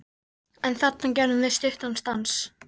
En þarna gerðum við stuttan stans